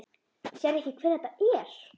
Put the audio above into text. Sérðu ekki hver þetta er?